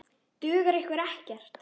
Dugar ykkur ekkert?